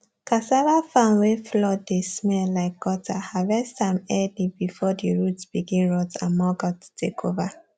cassava farm wey flood dey smell like gutter harvest am early before the root begin rot and maggot take over